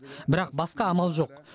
бірақ басқа амал жоқ